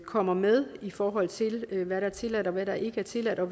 kommer med i forhold til hvad der er tilladt og hvad der ikke er tilladt og